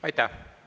Aitäh!